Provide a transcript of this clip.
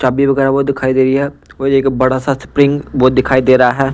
चाबी वगैरा वो दिखाई दे रही है और एक बड़ा सा स्प्रिंग वो दिखाई दे रहा है।